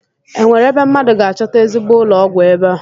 Enwere ebe mmadụ ga-achọta ezigbo ụlọọgwụ ebe a?